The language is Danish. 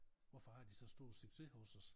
Hvorfor har de så stor succes hos os